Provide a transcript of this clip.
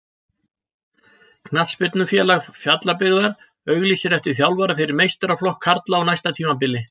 Knattspyrnufélag Fjallabyggðar auglýsir eftir þjálfara fyrir meistaraflokk karla á næsta tímabili.